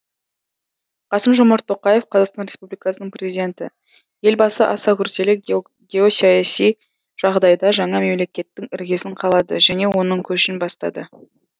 қасым жомарт тоқаев қазақстан республикасының президенті елбасы аса күрделі геосаяси жағдайда жаңа мемлекеттің іргесін қалады және оның көшін бастады